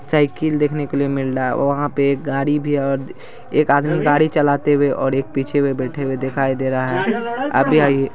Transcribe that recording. cycle देखने के लिए मिल रहा है और वहाँ पे एक गाड़ी भी है एक आदमी गाड़ी चलाते हुए और एक आदमी पीछे बैठे हुए दिख रहा है अभी--